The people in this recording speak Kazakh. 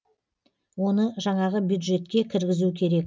оны жаңағы бюджетке кіргізу керек